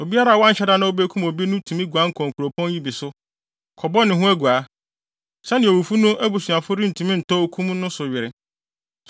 Obiara a wanhyɛ da na obekum obi no tumi guan kɔ nkuropɔn yi bi so, kɔbɔ ne ho aguaa, sɛnea owufo no abusuafo no rentumi ntɔ okum no so were.